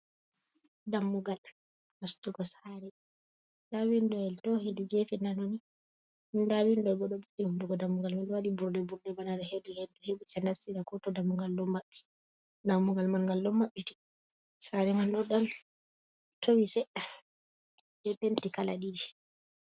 Dammugal nastugo saare, nda bindoyel to hedi geefe nano ni, nda bindo bo ɗo kombi hunnduko dammugal man ɗo waɗi burɗe- burɗe, bana hedi henndu heɓata nastira kooto dammugal ɗo maɓɓi, dammugal man ngal ɗo maɓɓiti, saare man ɗo ɗan towi seɗɗa be penti kala ɗiɗi.